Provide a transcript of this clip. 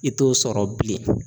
I t'o sɔrɔ bilen.